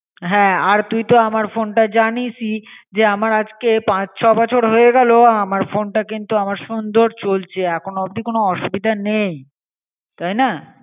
হ্যাঁ আর তুইতো আমার ফোনটা জানিসই যে আমার আজকে পাঁচ ছ বছর হয়ে গেলো আমার ফোনটা কিন্তু আমার সুন্দর চলছে এখনও অব্দি কোন অসুবিধে নেই তাই না.